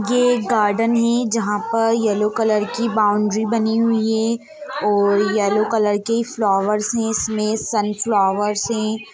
ये एक गार्डन है जहाँ पर येल्लो कलर की बाउंडरी बनी हुई है और येल्लो कलर के फ्लोवर्स हैं इसमे सनफ़्लोवर्स हैं।